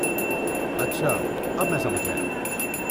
اچھا، اب میں سمجھ گیا۔